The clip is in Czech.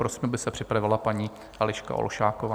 Prosím, aby se připravila paní Eliška Olšáková.